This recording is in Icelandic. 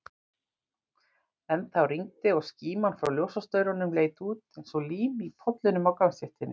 Ennþá rigndi, og skíman frá ljósastaurunum leit út eins og lím í pollunum á gangstéttinni.